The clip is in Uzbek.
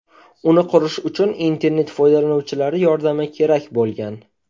Uni qurish uchun internet foydalanuvchilari yordami kerak bo‘lgan.